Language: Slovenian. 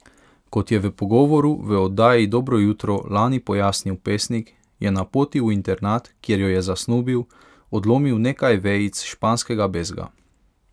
Kot je v pogovoru v oddaji Dobro jutro lani pojasnil pesnik, je na poti v internat, kjer jo je zasnubil, odlomil nekaj vejic španskega bezga.